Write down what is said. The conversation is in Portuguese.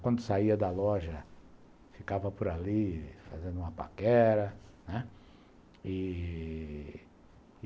Quando saía da loja, ficava por ali fazendo uma paquera, né. E...